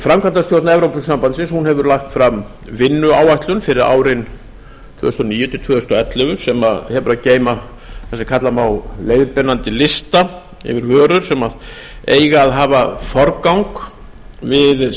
framkvæmdastjórn evrópusambandsins hefur lagt fram vinnuáætlun fyrir árin tvö þúsund og níu til tvö þúsund og ellefu sem hefur að geyma það sem kalla má leiðbeinandi lista yfir vörur sem eiga að hafa forgang við